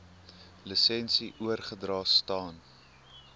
lisensie oorgedra staan